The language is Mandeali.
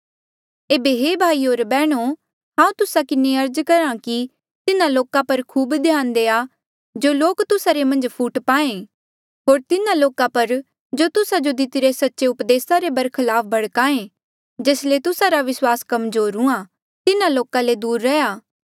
एेबे हे भाईयो होर बैहणो हांऊँ तुस्सा किन्हें अर्ज करहा कि तिन्हा लोका पर खूब ध्यान देआ जो लोक तुस्सा रे मन्झ फूट पाहें होर तिन्हा लोका पर जो तुस्सा जो दितिरे सच्चे उपदेसा रे बरखलाफ भड़काए जेस ले तुस्सा रा विस्वास कमजोर हुआ तिन्हा लोका ले दूर रैहया